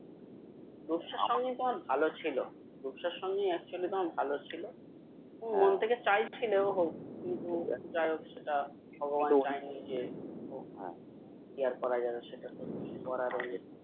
রূপসার সঙ্গে তোমার ভালো ছিলো রূপসার সঙ্গে actually তোমার ভালো ছিলো তুমি মন থেকে চাইছিলে হোক কিন্তু যাই হোক সেটা ভগবান চায়নি যে কি আর করা যাবে সেটা তো কিছু করার ও নেই